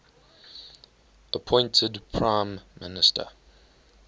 appointed prime minister